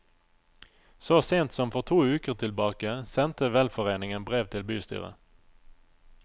Så sent som for to uker tilbake sendte velforeningen brev til bystyret.